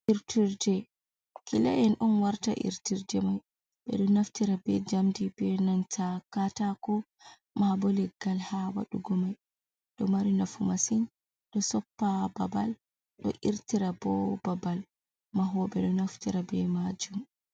irtirde, kila’en on watta irtirde man, ɓe ɗo naftira be jamdi be nanta katako mabo leggal ha wadugo mai, ɗo mari nafu masin ɗo soppa babal, ɗo irtira bo babal. Mahoɓe ɗo naftira ɓe majum.